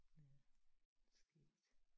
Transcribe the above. Ja skægt